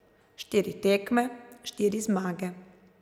Štiri tekme, štiri zmage.